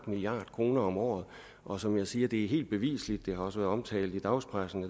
milliard kroner om året og som jeg siger er det helt bevisligt det har også været omtalt i dagspressen